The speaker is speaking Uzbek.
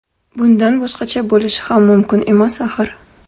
Bundan boshqacha bo‘lishi ham mumkin emas axir.